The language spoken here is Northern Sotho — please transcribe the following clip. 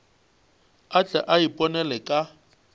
a tle a iponele ka